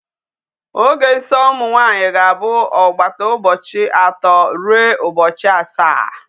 Oge nsọ ụmụ nwanyị ga-abụ ọgbata ụbọchị atọ ruo ụbọchị asaa.